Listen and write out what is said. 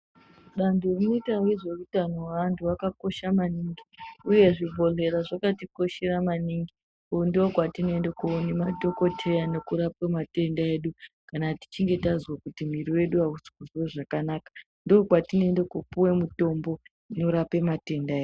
Danto rinoita ngezveutano hwaantu rakakosha maningi uye zvibhodhlera zvakatikoshera ngondokwatinoende koone madhokotwya nekurapwe matebda edu kana tichige tazwe kuti miri yedu aisi kuzwe zvakanaka ndokwatinoende kopiwe mutombo inorape matenda e.